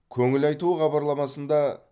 көңіл айту хабарламасында